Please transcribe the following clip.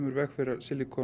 í veg fyrir